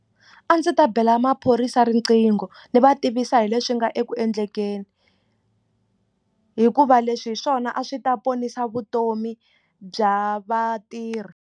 A ndzi ta bela maphorisa riqingho ndzi va tivisa hi leswi nga eku endlekeni hikuva leswi hi swona a swi ta ponisa vutomi bya vatirhi.